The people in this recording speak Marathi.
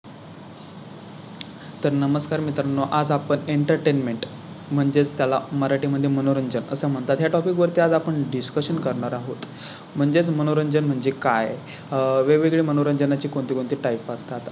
तर नमस्कार मित्रांनो, आज आपण Entertainment म्हणजेच त्याला मराठी मध्ये मनोरंजन असं म्हणतात. या Topic वरती आज आपण Discussion करणार आहोत. म्हणजे मनोरंजन म्हणजे काय? वेगवेगळे मनोरंजनाची कोणती कोणती Type असतात